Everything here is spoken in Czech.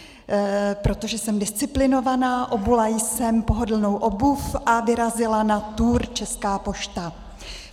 Protože jsem disciplinovaná, obula jsem pohodlnou obuv a vyrazila na tour Česká pošta.